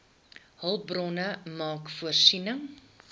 hulpbronne maak voorsiening